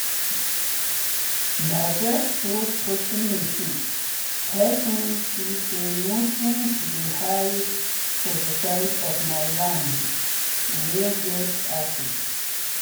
na these truth talking machine help me see say nutrient dey hide for the side of my land wey get acid.